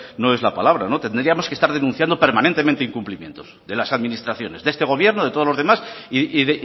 no es la palabra tendríamos que estar denunciando permanentemente incumplimientos de las administraciones de este gobierno de todos los demás y